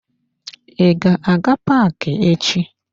I ga-aga paaki echi?